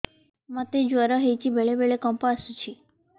ମୋତେ ଜ୍ୱର ହେଇଚି ବେଳେ ବେଳେ କମ୍ପ ଆସୁଛି